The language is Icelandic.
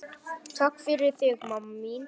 Takk fyrir þig, mamma mín.